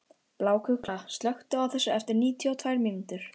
Bláklukka, slökktu á þessu eftir níutíu og tvær mínútur.